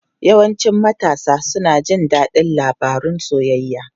Yawancin matasa suna jin daɗin labarun soyayya.